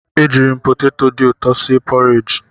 Ejirim poteto dị ụtọ si e porij.